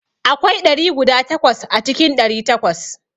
Akwai ɗari guda takwas a cikin ɗari takwas.